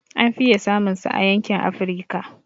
An fiye samun sa a yankin Afrika